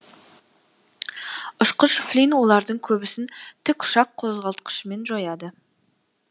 ұшқыш флин олардың көбісін тікұшақ қозғалтқышымен жояды